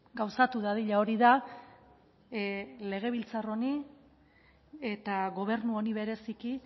gauzatu dadila hori da legebiltzar honi eta gobernu honi bereziki